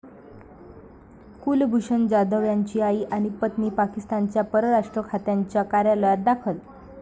कुलभूषण जाधव यांची आई आणि पत्नी पाकिस्तानच्या परराष्ट्र खात्याच्या कार्यालयात दाखल